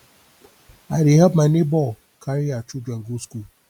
i dey help my nebor carry her children go school